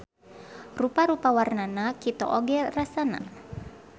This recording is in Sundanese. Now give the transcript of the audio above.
Rupa-rupa warnana kito oge rasana.